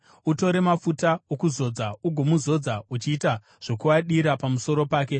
Utore mafuta okuzodza ugomuzodza uchiita zvokuadira pamusoro pake.